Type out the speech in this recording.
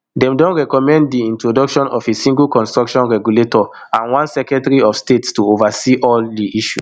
dem don recommend di introduction of a single construction regulator and one secretary of state to oversee di issue